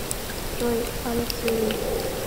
джой алекс вилей